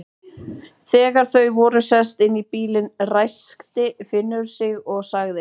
Þegar þau voru sest inn í bílinn, ræskti Finnur sig og sagði